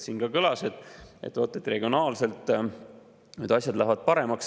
Siin ka kõlas, et regionaalselt need asjad lähevad paremaks.